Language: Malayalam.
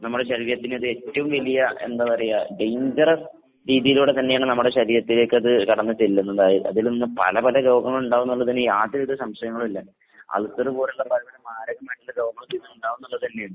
നമ്മടെ ശരീരത്തിനതേറ്റവും വലിയ എന്താ പറയാ ഡെയിഞ്ചറസ് രീതിയിലൂടെ തന്നെയാണ് നമ്മുടെ ശരീരത്തിലേക്കത് കടന്ന് ചെല്ലുന്നുണ്ടാവ, അതിൽനിന്ന് പല പല രോഗങ്ങൾ ഇണ്ടാവുംന്നുള്ളതിന് യാതൊരു വിധ സംശയങ്ങളും ഇല്ല. അൾസർ പോലുള്ള പല പല മാരകമായിട്ടുള്ള രോഗങ്ങളൊക്കെ ഇതിൽ നിന്ന് ഇണ്ടാവുംന്നുള്ളതെന്നെയാണ്.